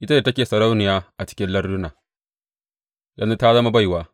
Ita da take sarauniya a cikin larduna yanzu ta zama baiwa.